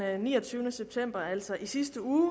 niogtyvende september altså i sidste uge